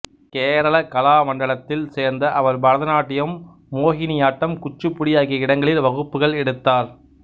கேரள கலாமண்டலத்தில் சேர்ந்த அவர் பரதநாட்டியம் மோகினியாட்டம் குச்சிபுடி ஆகிய இடங்களில் வகுப்புகள் எடுத்தார்